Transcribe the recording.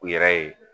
U yɛrɛ ye